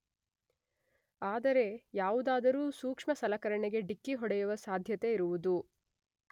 ಆದರೆ ಯಾವುದಾದರೂ ಸೂಕ್ಷ್ಮ ಸಲಕರಣೆಗೆ ಡಿಕ್ಕಿ ಹೊಡೆಯುವ ಸಾಧ್ಯತೆ ಇರುವುದು